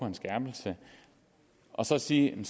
en skærpelse og så siger man